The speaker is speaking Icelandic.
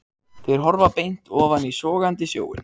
Þeir horfa beint ofan í sogandi sjóinn.